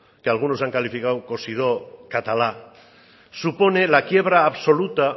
que algunos han calificado supone la quiebra absoluta